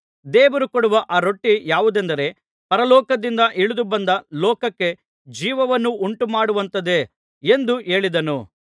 ದೇವರು ಕೊಡುವ ಆ ರೊಟ್ಟಿ ಯಾವುದೆಂದರೆ ಪರಲೋಕದಿಂದ ಇಳಿದು ಬಂದು ಲೋಕಕ್ಕೆ ಜೀವವನ್ನು ಉಂಟುಮಾಡುವಂಥದ್ದೇ ಎಂದು ಹೇಳಿದನು